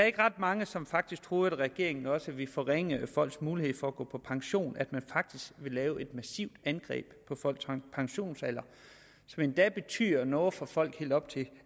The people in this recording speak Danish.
ikke ret mange som faktisk troede at regeringen også ville forringe folks mulighed for at gå på pension at man faktisk ville lave et massivt angreb på folks pensionsalder som endda betyder noget for folk helt op til